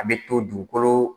A bɛ to dukolo